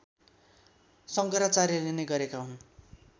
शङ्कराचार्यले नै गरेका हुन्